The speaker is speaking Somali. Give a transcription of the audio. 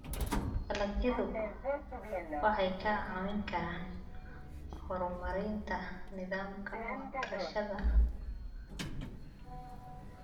Dalagyadu waxay kaa caawin karaan horumarinta nidaamka waxbarashada.